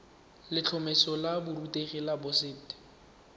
letlhomeso la borutegi la boset